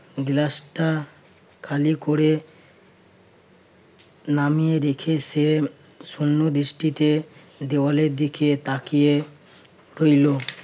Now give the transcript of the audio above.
গ্লাসটা খালি করে নামিয়ে রেখে সে শূন্যদৃষ্টিতে দেওয়ালের দিকে তাকিয়ে রইল।